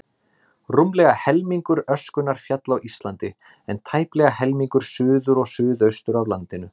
Rúmlega helmingur öskunnar féll á Íslandi, en tæplega helmingur suður og suðaustur af landinu.